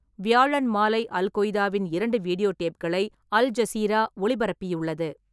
வியாழன் மாலை அல்-கொய்தாவின் இரண்டு வீடியோ டேப்களை அல்-ஜசீரா ஒளிபரப்பியுள்ளது.